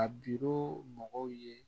A biro mɔgɔw ye